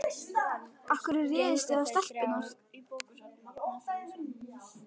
Af hverju réðust þið á stelpurnar